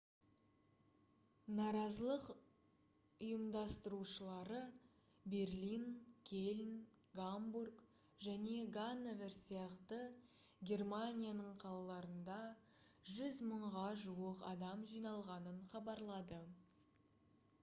наразылық ұйымдастырушылары берлин кельн гамбург және ганновер сияқты германияның қалаларында 100 мыңға жуық адам жиналғанын хабарлады